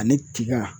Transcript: Ani tiga